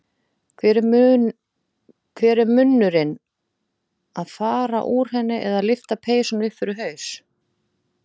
Hver er munnurinn að fara úr henni eða lyfta peysunni upp fyrir haus.